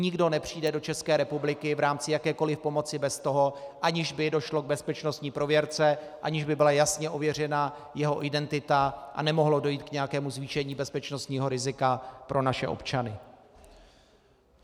Nikdo nepřijde do České republiky v rámci jakékoli pomoci bez toho, aniž by došlo k bezpečnostní prověrce, aniž by byla jasně ověřena jeho identita, a nemohlo dojít k nějakému zvýšení bezpečnostního rizika pro naše občany.